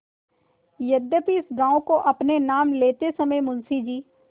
यद्यपि इस गॉँव को अपने नाम लेते समय मुंशी जी